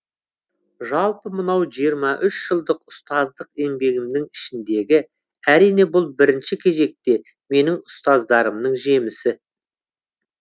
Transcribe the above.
жалпы мынау жиырма үш жылдық ұстаздық еңбегімнің ішіндегі әрине бұл бірінші кезекте менің ұстаздарымның жемісі